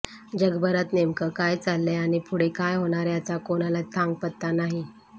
जगभरात नेमकं काय चाललंय आणि पुढे काय होणार याचा कोणालाच थांगपत्ता नाही